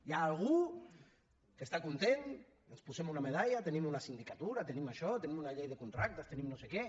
hi ha algú que està content ens posem una medalla tenim una sindicatura tenim això tenim una llei de contractes tenim no sé què